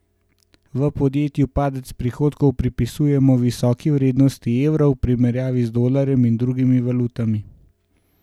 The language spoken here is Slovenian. V podjetju padec prihodkov pripisujejo visoki vrednosti evra v primerjavi z dolarjem in drugimi valutami.